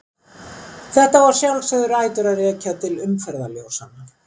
Þetta á að sjálfsögðu rætur að rekja til umferðarljósanna.